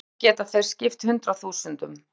Í einu rúmi geta þeir skipt hundruðum þúsunda.